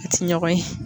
A ti ɲɔgɔn ye